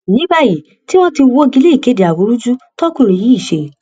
ní báyìí tí wọn ti wọgi lé ìkéde awúrúju tókùnrin yìí ṣe